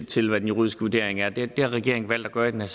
til hvad den juridiske vurdering er det har regeringen valgt at gøre i den